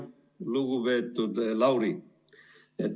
Lugupeetud Lauri!